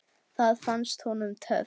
Það fannst honum töff.